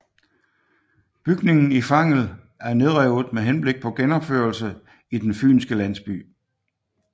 Bygningen i Fangel er nedrevet med henblik på genopførelse i Den Fynske Landsby